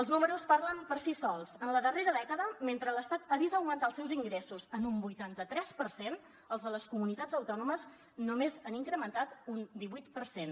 els números parlen per si sols en la darrera dècada mentre l’estat ha vist augmentar els seus ingressos en un vuitanta tres per cent els de les comunitats autònomes només han incrementat un divuit per cent